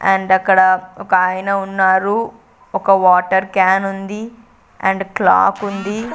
And అక్కడ ఒక ఆయన ఉన్నారు ఒక వాటర్ క్యాన్ ఉంది అండ్ క్లాక్ ఉంది.